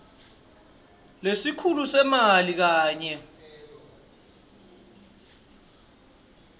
lesikhulu semali kanye